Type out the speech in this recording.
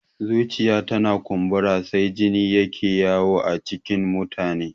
Zuciya tana kumbura sai jini yake yawo a cikin mutane